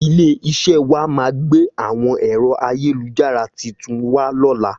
Ilé iṣé wá máà gbé àwọn èro ayélujára titun wà lóla